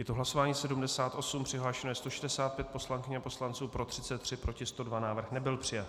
Je to hlasování 78, přihlášeno je 165 poslankyň a poslanců, pro 33, proti 102, návrh nebyl přijat.